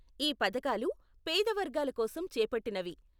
ఈ పథకాలు పేద వర్గాల కోసం చేపట్టినవి.